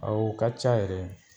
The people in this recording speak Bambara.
A u ka ca yɛrɛ